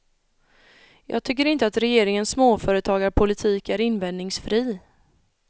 Jag tycker inte att regeringens småföretagarpolitik är invändningsfri.